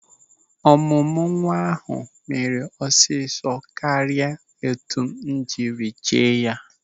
Ọmụmụ nwa ahụ mere ọsịsọ karịa etu m siri che ya.